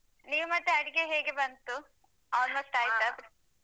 ನೀವ್ ಮತ್ತೆ ಅಡುಗೆ ಹೇಗೆ ಬಂತು almost ಆಯಿತಾ?